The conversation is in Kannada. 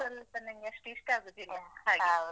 ಅದು ಸ್ವಲ್ಪ ನಂಗೆ ಅಷ್ಟು ಇಷ್ಟ ಆಗುದಿಲ್ಲ ಹಾಗೆ.